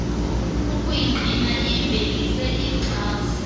ukuyingqina iyivelise iyixhase